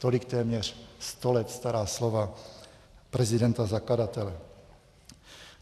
Tolik téměř sto let stará slova prezidenta zakladatele.